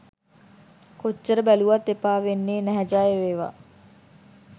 කොච්චර බැලුවත් එපා වෙන්නෙ නැහැ ජයවේවා